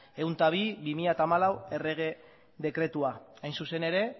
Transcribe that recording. ehun eta bi barra bi mila hamalau errege dekretua hain zuzen ere